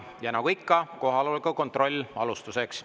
Ja nagu ikka, kohaloleku kontroll alustuseks.